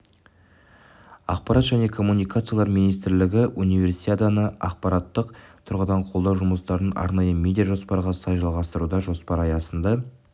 ақпарат және коммуникациялар министрлігі универсиаданы ақпараттық тұрғыдан қолдау жұмыстарын арнайы медиа жоспарға сай жалғастыруда жоспар аясында